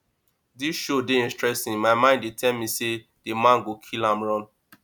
dis show dey interesting my mind dey tell me say the man go kill am run